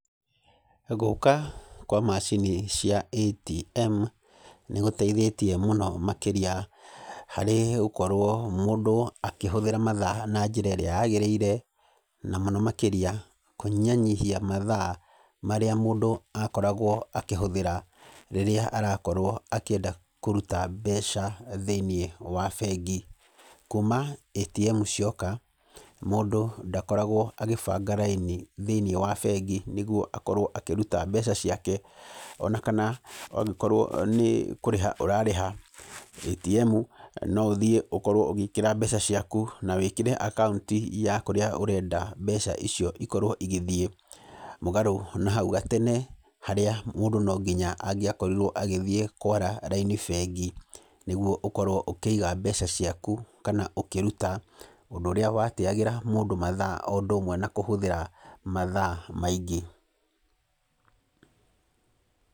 Gũka kwa macini cia ATM nĩgũteithĩtie mũno makĩria harĩ gũkorwo mũndũ akĩhũthĩra mathaa na njĩra ĩrĩa yagĩrĩire. Na mũno makĩria kũnyihanyihia mathaa marĩa mũndũ akoragwo akĩhũthĩra rĩrĩa arakorwo akĩenda kũruta mbeca thĩinĩ wa bengi. Kuma ATM cioka mũndũ ndakoragwo agĩbanga raini thĩini wa bengi nĩguo akorwo akĩruta mbeca ciake. Ona kana angĩkorwo nĩ kũrĩha ũrarĩha ATM no ũthiĩ na ũkorwo ũgĩkĩra mbeca ciaku, nawĩkĩre akaunti ya kũrĩa ũrenda mbeca icio ikorwo igĩthiĩ, mũgarũ na hau gatene harĩa mũndũ no nginya angĩakorirwo agĩthiĩ kwara raini bengi nĩguo ũkorwo ũkĩiga mbeca ciaku kana ũkĩruta. Ũndũ ũrĩa wateyagĩra mũndũ mathaa o ũndũ ũmwe na kũhũthĩra mathaa maingĩ.